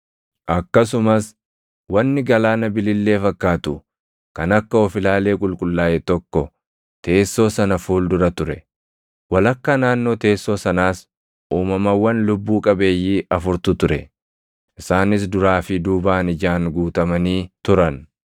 Akkasumas wanni galaana bilillee fakkaatu kan akka of-ilaalee qulqullaaʼe tokko teessoo sana fuuldura ture. Walakkaa naannoo teessoo sanaas uumamawwan lubbuu qabeeyyii afurtu ture; isaanis duraa fi duubaan ijaan guutamanii turan.